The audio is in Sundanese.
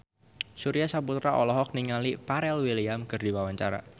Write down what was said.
Surya Saputra olohok ningali Pharrell Williams keur diwawancara